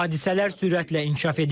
Hadisələr sürətlə inkişaf edir.